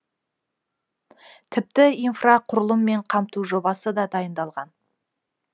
тіпті инфрақұрылыммен қамту жобасы да дайындалған